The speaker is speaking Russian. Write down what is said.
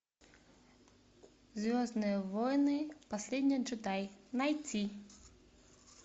звездные войны последний джедай найти